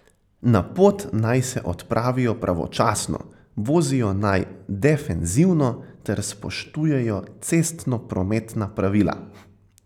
Na pot naj se odpravijo pravočasno, vozijo naj defenzivno ter spoštujejo cestnoprometna pravila.